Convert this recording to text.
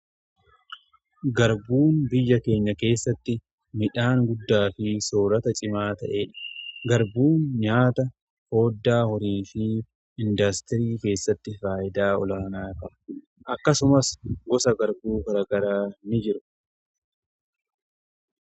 garbuun biyya keenya keessatti midhaan guddaa fi soorata cimaa ta'ee dha garbuun nyaata fooddaa horiifii indaastirii keessatti faayidaa olaanaa tara akkasumas gosa garbuu garagara ni jiru